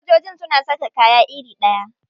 Sojojin suna saka kaya iri ɗaya?